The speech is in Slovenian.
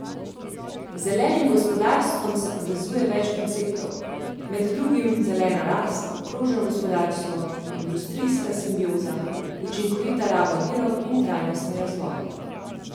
Z zelenim gospodarstvom se povezuje več konceptov, med drugim zelena rast, krožno gospodarstvo, industrijska simbioza, učinkovita raba virov in trajnostni razvoj.